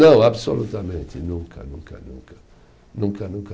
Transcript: Não, absolutamente nunca, nunca, nunca, nunca, nunca